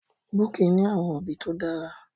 Bukky ní àwọn òbí tó dára.